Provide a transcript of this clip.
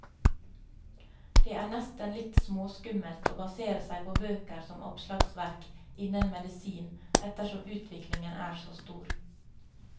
Det er nesten litt småskummelt å basere seg på bøker som oppslagsverk innen medisin, ettersom utviklingen er så stor.